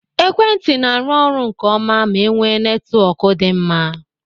Ekwentị n'aru ọrụ nke ọma ma enwe netwọk dị mma